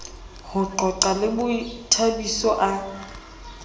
ho qoqa le bothabiso a